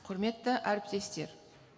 құрметті әріптестер